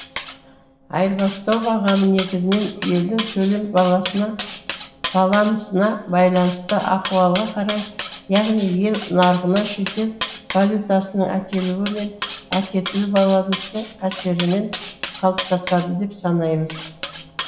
айырбастау бағамы негізінен елдің төлем балансына байланысты ахуалға қарай яғни ел нарығына шетел валютасының әкелуі мен әкетілу балансының әсерімен қалыптасады деп санаймыз